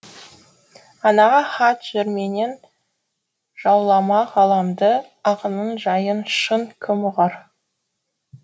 анаға хат жырменен жауламақ ғаламды ақынның жайын шын кім ұғар